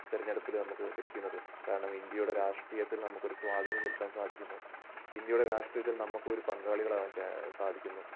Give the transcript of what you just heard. തിരഞ്ഞെടുപ്പില് നമുക്ക് ലഭിക്കുന്നത്. കാരണം ഇന്ത്യയുടെ രാഷ്ട്രീയത്തിൽ നമുക്കൊരു സ്വാധീനം ചെലുത്താൻ സാധിക്കുന്നു ഇന്ത്യയുടെ രാഷ്ട്രീയത്തിൽ നമുക്കും ഒരു പങ്കാളികളാകാൻ ചാ സാധിക്കുന്നു.